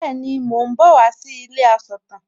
Bẹ́ẹ̀ni, mò ń bọ̀ wá sí ilé asọ̀tàn